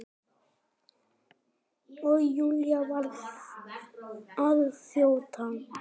Og Júlía varð að þjóta.